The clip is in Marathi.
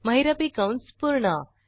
महिरपी कंस पूर्ण